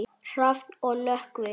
Hrafn og Nökkvi.